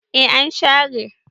e an share